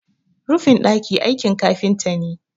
rufin daki aikin kafinta ne